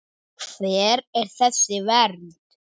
Hver er þessi vernd?